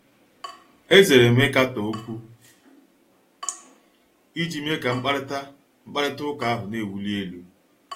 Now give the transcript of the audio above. Ezere m ịkatọ okwu iji mee ka mkparịta mkparịta ụka ahụ na-ewuli elu.